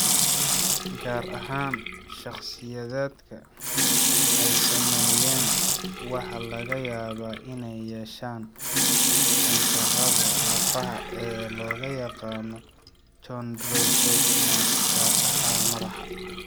Gaar ahaan, shakhsiyaadka ay saameeyeen waxaa laga yaabaa inay yeeshaan kansarrada lafaha ee loo yaqaan chondrosarcomas, gaar ahaan madaxa.